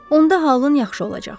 Onda halın yaxşı olacaq.